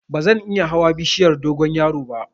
Bazan iya hawa bishiyar dogonyaro ba